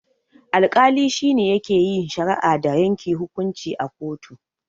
Alkali shine yake yin shari'a da yanke hukunci a kotu.